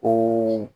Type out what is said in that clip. Ko